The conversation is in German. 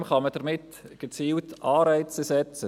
Unter anderem kann man damit gezielt Anreize setzen.